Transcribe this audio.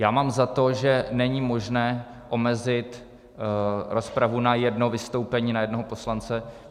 Já mám za to, že není možné omezit rozpravu na jedno vystoupení na jednoho poslance.